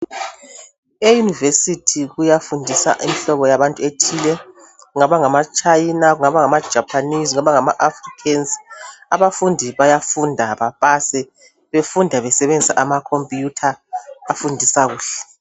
E University kuyafundisa imhlobo yabantu ethile ngabangama China ngabangama Japanese ngabangama africans abafundi bayafunda bapase befunda besebenzisa ama computer afundisa kuhle